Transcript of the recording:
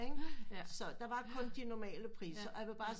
Så der var kun de normale priser og jeg vil bare